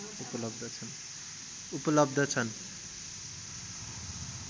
उपलब्ध छन्